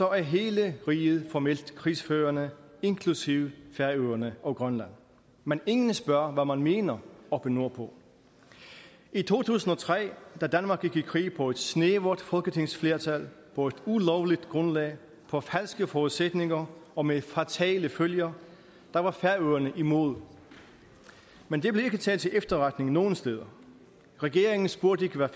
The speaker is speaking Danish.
er hele riget formelt krigsførende inklusive færøerne og grønland men ingen spørger om hvad man mener oppe nordpå i to tusind og tre da danmark gik i krig på et snævert folketingsflertal på et ulovligt grundlag på falske forudsætninger og med fatale følger var færøerne imod men det blev ikke taget til efterretning nogen steder regeringen spurgte ikke hvad